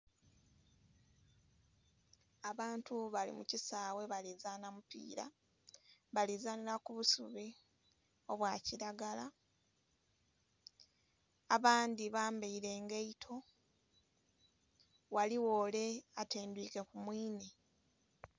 Abantu balimukisawe balizana mupira balizanira kubusubi obwakiragala abandhi bambaire engaito ghaligho ole atendhwike kumwiine.